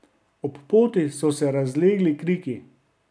Ob poti so se razlegli kriki.